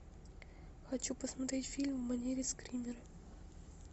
хочу посмотреть фильм в манере скример